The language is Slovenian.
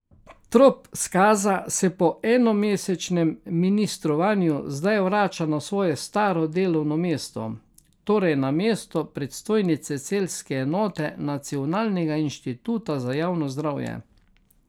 Trop Skaza se po enomesečnem ministrovanju zdaj vrača na svoje staro delovno mesto, torej na mesto predstojnice celjske enote Nacionalnega inštituta za javno zdravje.